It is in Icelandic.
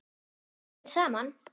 Við pössum vel saman.